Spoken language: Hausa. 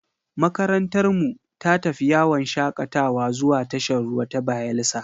Makarantarmu ta tafi yawon shakatawa zuwa tashar ruwa ta Bayelsa.